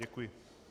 Děkuji.